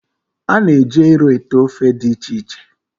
A na-eji ero ete ofe dị iche iche